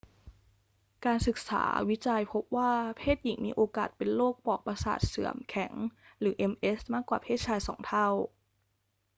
การศึกษาวิจัยพบว่าเพศหญิงมีโอกาสเป็นโรคปลอกประสาทเสื่อมแข็งหรือ ms มากกว่าเพศชายสองเท่า